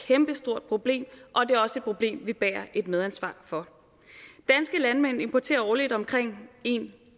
kæmpestort problem og det er også et problem vi bærer et medansvar for danske landmænd importerer årligt omkring en